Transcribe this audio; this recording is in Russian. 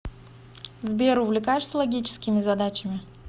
сбер увлекаешься логическими задачами